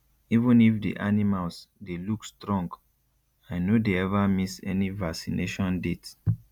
even if the animals dey look strong i no dey ever miss any vaccination date